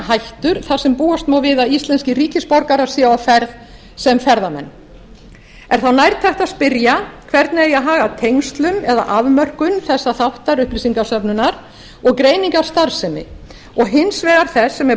hættur þar sem búast má við að íslenskir ríkisborgarar séu á ferð sem ferðamenn er þá nærtækt að spyrja hvernig eigi að haga tengslum eða afmörkun þessa þáttar upplýsingasöfnunar og greiningar starfsemi og hins vegar þess sem er